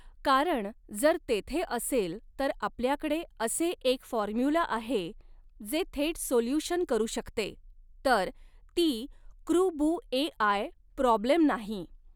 कारण जर तेथे असेल तर आपल्याकडे असे एक फॉर्म्युला आहे जे थेट सोल्यूशन करू शकते तर ती कृबु एआय प्रॉब्लेम नाही.